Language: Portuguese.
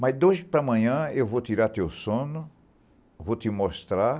Mas de hoje para amanhã eu vou tirar teu sono, vou te mostrar,